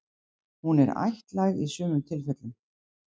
Hún er ættlæg í sumum tilfellum.